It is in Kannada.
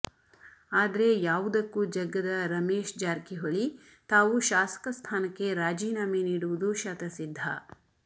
ಆದರೆ ಯಾವುದಕ್ಕೂ ಜಗ್ಗದ ರಮೇಶ್ ಜಾರಕಿ ಹೊಳಿ ತಾವು ಶಾಸಕ ಸ್ಥಾನಕ್ಕೆ ರಾಜೀನಾಮೆ ನೀಡುವುದು ಶತಸಿದ್ಧ